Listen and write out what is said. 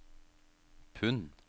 pund